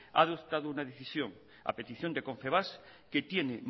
ha adoptado una decisión a petición de confebask que tiene